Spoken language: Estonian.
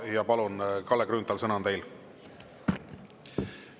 Ja palun, Kalle Grünthal, sõna on teil!